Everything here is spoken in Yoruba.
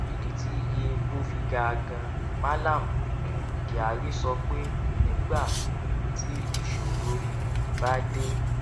ìdí tí iye epo fi ga ganan mallam um kyari sọ pé nígbà um tí ìṣòro um bá dé